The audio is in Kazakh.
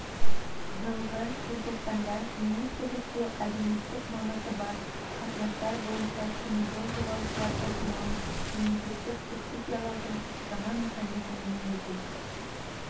жылғы желтоқсанда министрлікте әлеуметтік маңызы бар қатынастар бойынша теміржол жолаушылар тасымалын мемлекеттік субсидиялаудың жаңа механизмін енгізу